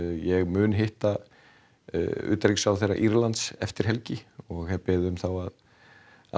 ég mun hitta utanríkisráðherra Írlands eftir helgi og hef beðið um að